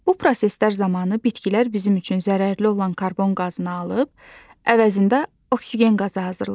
Bu proseslər zamanı bitkilər bizim üçün zərərli olan karbon qazını alıb, əvəzində oksigen qazı hazırlayır.